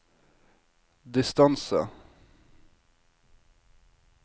distance